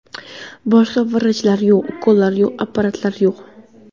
Boshqa vrachlar yo‘q, ukollar yo‘q, apparatlar yo‘q.